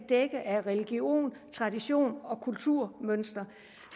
dække af religion tradition og kulturmønster